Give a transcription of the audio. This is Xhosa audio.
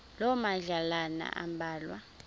loo madlalana ambalwa